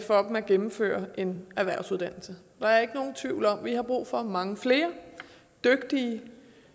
for dem at gennemføre en erhvervsuddannelse der er ikke nogen tvivl om at vi har brug for mange flere dygtige